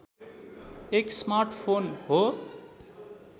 एक स्मार्टफोन हो